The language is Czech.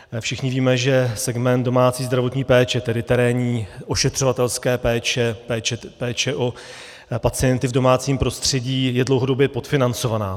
Všichni víme, že segment domácí zdravotní péče, tedy terénní ošetřovatelské péče, péče o pacienty v domácím prostředí, je dlouhodobě podfinancovaný.